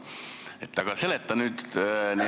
Kuigi, jah, hääletus lõppes nii, et eelnõu tuli suurde saali.